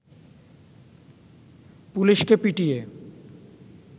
পুলিশকে পিটিয়ে